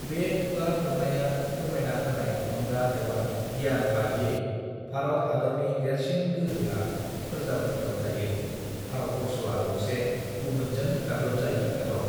बे खुगा फोरनाया फोरमायना होनाय थुलुंगा एबा गियान बादियै भारत हादरनि देरसिन गोहोया फोरजाफोरनियाव थायो भारतवर्षआ गंसे गुबुनजों गादबजायि हादर